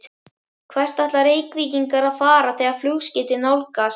Hvert ætla Reykvíkingar að fara þegar flugskeytin nálgast?